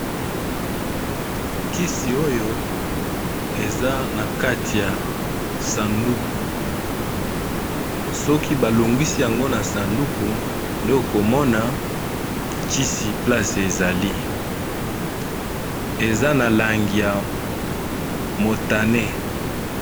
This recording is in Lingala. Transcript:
KiSi, oyo eza na kati ya sanduku soki balongwisi yango na sanduku nde okomona kisi place ezali ! eza na langi ya Motane.